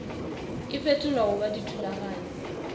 e fetolwa go ba dithulaganyo